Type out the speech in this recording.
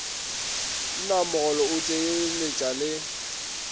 naa mogolo go tsenyeletša le